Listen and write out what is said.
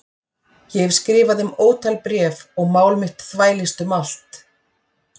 Ég hef skrifað þeim ótal bréf og mál mitt þvælst um allt